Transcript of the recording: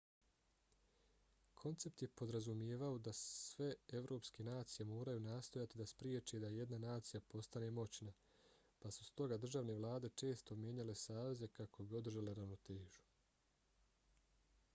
koncept je podrazumijevao da sve evropske nacije moraju nastojati da spriječe da jedna nacija postane moćna pa su stoga državne vlade često mijenjale saveze kako bi održale ravnotežu